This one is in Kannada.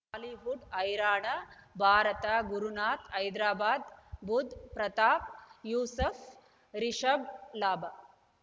ಬಾಲಿವುಡ್ ಹೈರಾಣ ಭಾರತ ಗುರುನಾಥ ಹೈದರಾಬಾದ್ ಬುಧ್ ಪ್ರತಾಪ್ ಯೂಸುಫ್ ರಿಷಬ್ ಲಾಭ